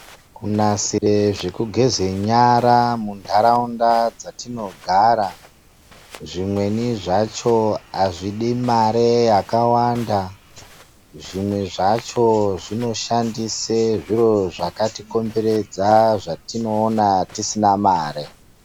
Kunasire zvekugeze nyara munharaunda dzatinogara, zvimweni zvacho azvidi mari yakawanda. Zvimwe zvacho zvinoshandise zviro zvakatikomberedza zvatinoona tisina mare.